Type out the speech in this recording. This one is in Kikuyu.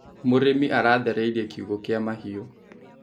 Mũrĩmi aratheririe kiugũ kia mahiũ.